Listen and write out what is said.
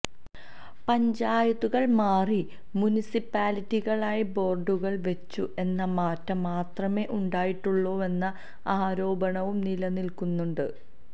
പഞ്ചായത്തുകള് മാറി മുനിസിപ്പാലിറ്റികളായി ബോര്ഡുകള് വെച്ചു എന്ന മാറ്റം മാത്രമെ ഉണ്ടായിട്ടുള്ളുവെന്ന ആരോപണവും നിലനില്ക്കുന്നുണ്ട്